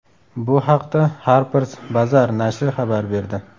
Bu haqda Harper’s Bazaar nashri xabar berdi .